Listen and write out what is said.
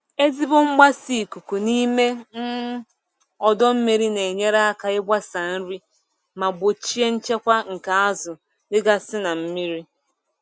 Ezigbo mgbasa ikuku n'ime um ọdọ mmiri na-enyere aka ịgbasa nri ma gbochie nkewa nke azụ dịgasị na mmiri.